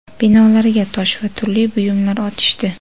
binolarga tosh va turli buyumlar otishdi.